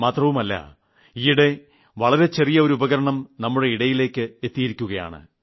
മാത്രമല്ല ഈയിടെ വളരെ ചെറിയ ഒരു ഉപകരണം നമ്മുടെ ഇടയിലേയ്ക്ക് എത്തിയിരിക്കുകയാണ്